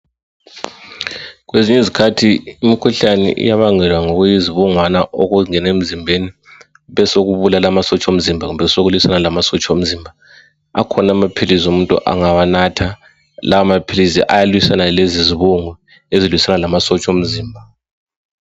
Kwezinye izikhathi imikhuhlane iyabangelwa ngokuyizibungwana okungena emzimbeni besokubulala amasotsha omzimba kumbe kulwisane lamasotsha omzimba akhona amaphilizi umuntu angawanatha lawo maphilisi ayalwisana lalezizibungu ezilwisana lamasotsha omzimba.